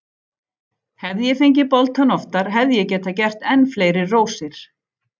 Hefði ég fengið boltann oftar hefði ég getað gert enn fleiri rósir.